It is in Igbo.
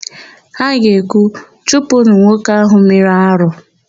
Ha ga-ekwu, "chụpụnụ nwoke áhụ̀ mere arụ"!